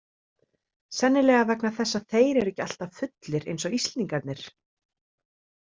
Sennilega vegna þess að þeir eru ekki alltaf fullir eins og Íslendingarnir.